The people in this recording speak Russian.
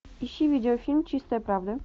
ищи видеофильм чистая правда